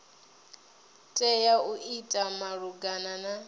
tea u ita malugana na